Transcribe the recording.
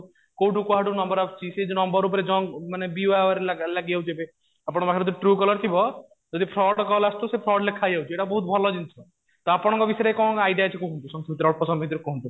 କୋଉଠୁ କୁଆଡେ ନମ୍ବର ଆସୁଛି ସେଇ ନମ୍ବର ଉପରେ junk ମାନେ be aware ଲାଗିଯାଉଛି ଏବେ ଆପଣ ମାନଙ୍କର ଯଦି true caller ଥିବ ତ ଯଦି fraud କଲ ଆସୁଥିବ ତ ସେ fraud ଲେଖାହେଇଯାଉଛି ଏଟା ବହୁତ ଭଲ ଜିନିଷ ତ ଆପଣଙ୍କ ଭିତରେ କଣ idea ଅଛି କୁହନ୍ତୁ